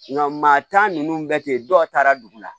Nka maa tan ninnu bɛ ten dɔw taara dugu la